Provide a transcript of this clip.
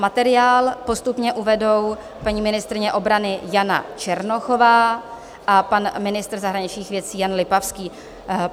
Materiál postupně uvedou paní ministryně obrany Jana Černochová a pan ministr zahraničních věcí Jan Lipavský.